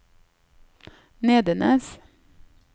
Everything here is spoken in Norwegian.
Nedenes